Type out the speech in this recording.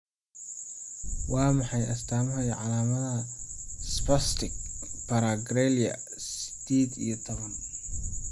Waa maxay astaamaha iyo calaamadaha Spastic paraplegia sided iyo toban?